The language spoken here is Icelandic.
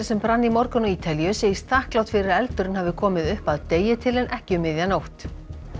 sem brann í morgun á Ítalíu segist þakklát fyrir að eldurinn hafi komið upp að degi til en ekki um miðja nótt